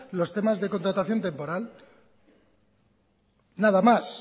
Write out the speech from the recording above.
los temas de contratación temporal nada más